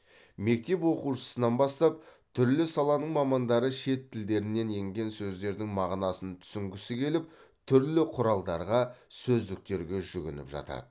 мектеп оқушысынан бастап түрлі саланың мамандары шет тілдерінен енген сөздердің мағынасын түсінгісі келіп түрлі құралдарға сөздіктерге жүгініп жатады